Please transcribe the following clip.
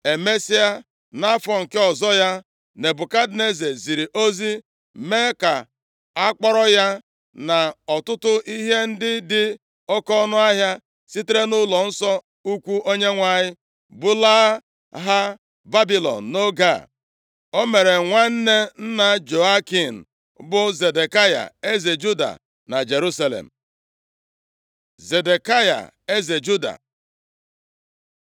Emesịa, nʼafọ nke ọzọ ya, Nebukadneza ziri ozi mee ka akpọrọ ya, na ọtụtụ ihe ndị dị oke ọnụahịa sitere nʼụlọnsọ ukwu Onyenwe anyị, bulaa ha Babilọn nʼoge a. O mere nwanne nna Jehoiakin bụ Zedekaya, eze Juda na Jerusalem. Zedekaya eze Juda